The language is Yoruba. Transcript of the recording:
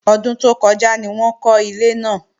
Ọdún tó kọjá ni wọ́n kọ́ ilé náà